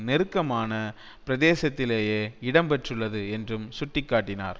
நெருக்கமான பிரதேசத்திலேயே இடம்பெற்றுள்ளது என்றும் சுட்டி காட்டினார்